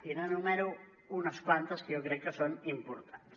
i n’enumero unes quantes que jo crec que són importants